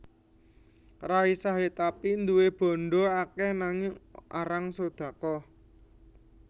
Ray Sahetapy duwe bandha akeh nanging arang sodaqoh